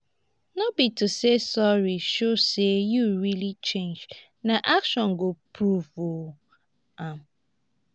no be to say sorry show say you really change na action go prove um am.